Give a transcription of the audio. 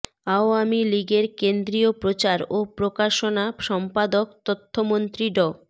আওয়ামী লীগের কেন্দ্রীয় প্রচার ও প্রকাশনা সম্পাদক তথ্যমন্ত্রী ড